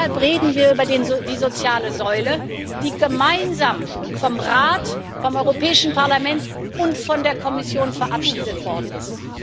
Deshalb reden wir über die soziale Säule, die gemeinsam vom Rat, vom Europäischen Parlament und von der Kommission verabschiedet worden ist.